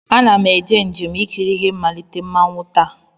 Ana m eme njem ikiri ihe mmalite mmanwụ taa.